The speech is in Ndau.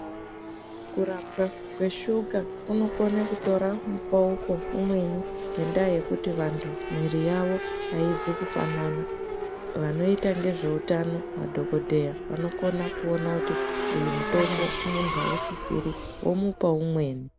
Kurapwa kweshuka kunokone kutora mbawuko umweni nendaa yekuti vandu muviri wavo hauzi kufanana vanoita nezveutano madokoteya vanokona kuona kuti uyu mutombo hausisiri vomupawo umweni